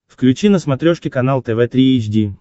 включи на смотрешке канал тв три эйч ди